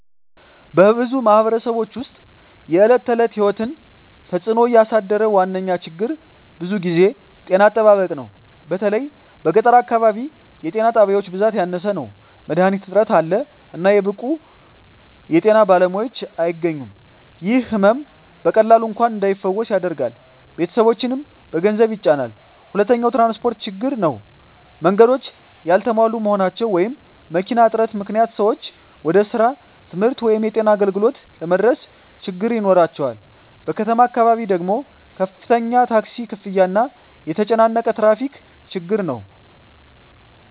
በብዙ ማኅበረሰቦች ውስጥ የዕለት ተዕለት ሕይወትን እየተጽእኖ ያሳደረ ዋነኛ ችግር ብዙ ጊዜ ጤና አጠባበቅ ነው። በተለይ በገጠር አካባቢ የጤና ጣቢያዎች ብዛት ያነሰ ነው፣ መድሀኒት እጥረት አለ፣ እና ብቁ የጤና ባለሙያዎች አያገኙም። ይህ ሕመም በቀላሉ እንኳን እንዳይፈወስ ያደርጋል፣ ቤተሰቦችንም በገንዘብ ይጫናል። ሁለተኛው ትራንስፖርት ችግር ነው። መንገዶች ያልተሟሉ መሆናቸው ወይም መኪና እጥረት ምክንያት ሰዎች ወደ ስራ፣ ትምህርት ወይም የጤና አገልግሎት ለመድረስ ችግኝ ይኖራቸዋል። በከተማ አካባቢ ደግሞ ከፍተኛ ታክሲ ክፍያ እና የተጨናነቀ ትራፊክ ችግር ነው።